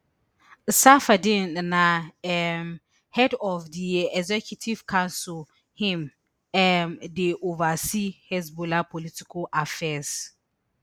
safieddine na um head of di executive council im um dey oversee hezbollah political affairs